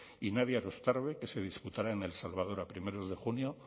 y nadia erostarbe que se disputará en el salvador a primeros de junio